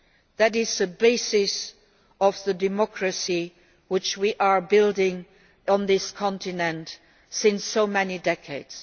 That is the basis of the democracy which we have been building on this continent for so many decades.